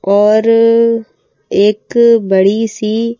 और एक बड़ी सी--